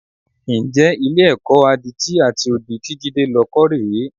Ǹjẹ́ Ilé-ẹ̀kọ́ àwọn adití àti odi tí Jídé lọ kọ́ rè é?